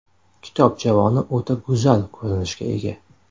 Kitob javoni o‘ta go‘zal ko‘rinishga ega.